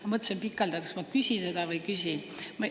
Ma mõtlesin pikalt, kas ma küsin seda või ei küsi.